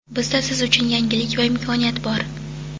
Bizda siz uchun yangilik va imkoniyat bor.